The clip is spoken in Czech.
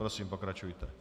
Prosím, pokračujte.